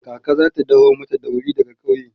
kaka zata daho mata dauri daga ƙauye